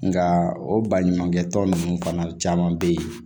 Nka o baɲumankɛ tɔn ninnu fana caman bɛ yen